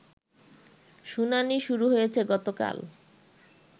শুনানি শুরু হয়েছে গতকাল